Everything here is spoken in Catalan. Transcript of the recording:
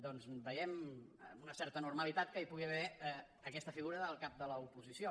doncs veiem amb una certa normalitat que hi pugui haver aquesta figura del cap de l’oposició